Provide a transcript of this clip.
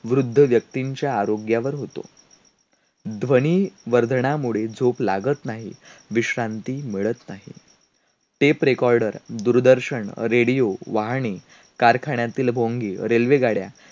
जवळचे मित्र दुरावतात ज्यांच्यावर प्रेम केलं त्यांनाही त्या प्रेमाची वीसमूर्ती होते आणि वैऱ्याची अग्नी ते पेटवत ठेवतात.